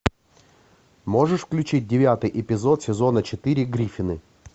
можешь включить девятый эпизод сезона четыре гриффины